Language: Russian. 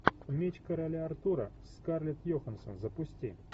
меч короля артура скарлетт йоханссон запусти